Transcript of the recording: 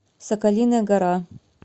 соколиная гора